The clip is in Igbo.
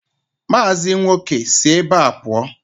Mazi nwoke, si ebe a pụọ!